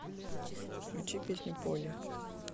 включи песню полли